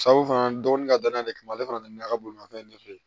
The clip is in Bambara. fana dɔgɔnin ka danaya de kama ale fana nana ka bolimafɛn de fɛ yen